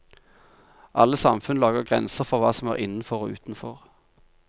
Alle samfunn lager grenser for hva som er innenfor og utenfor.